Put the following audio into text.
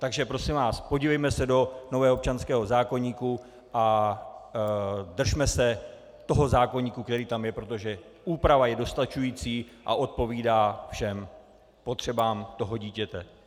Takže prosím vás, podívejme se do nového občanského zákoníku a držme se toho zákoníku, který tam je, protože úprava je dostačující a odpovídá všem potřebám toho dítěte.